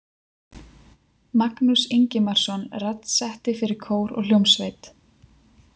Magnús Ingimarsson raddsetti fyrir kór og hljómsveit.